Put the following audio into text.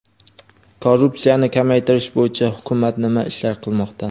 Korrupsiyani kamaytirish bo‘yicha hukumat nima ishlar qilmoqda?.